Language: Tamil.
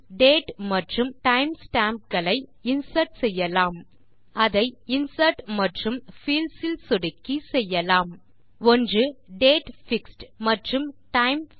இல் டேட் மற்றும் டைம் ஸ்டாம்ப் களை இன்சர்ட் செய்யலாம் அதை இன்சர்ட் மற்றும் பீல்ட்ஸ் இல் சொடுக்கி செய்யலாம் ஒன்று டேட் மற்றும் டைம்